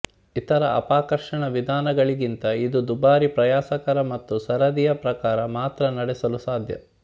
ಇತರ ಅಪಕರ್ಷಣ ವಿಧಾನಗಳಿಗಿಂತ ಇದು ದುಬಾರಿ ಪ್ರಯಾಸಕರ ಮತ್ತು ಸರದಿಯ ಪ್ರಕಾರ ಮಾತ್ರ ನಡೆಸಲು ಸಾಧ್ಯ